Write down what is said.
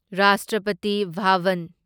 Rashtrapati Bhavan